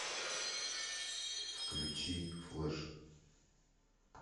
включи флэш